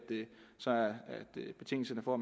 betingelserne for